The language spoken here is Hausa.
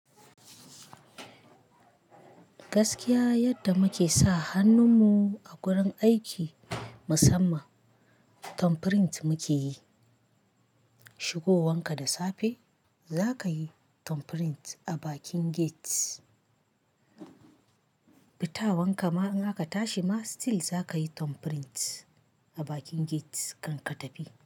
Gaskiya yadda muke sa hannun mu a gurin aiki musamman thumbprint muke yi. Shigowanka da safe za ka yi thumbprint a bakin gate, fitawanka ma in aka tashi ma still za ka yi thumbprint a bakin gate kan ka tafi.